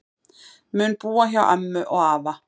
Mun búa hjá ömmu og afa